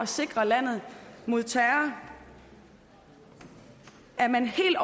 sikre landet mod terror er man helt